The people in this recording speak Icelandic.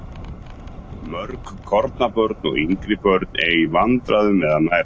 Mörg kornabörn og yngri börn eiga í vandræðum með að nærast.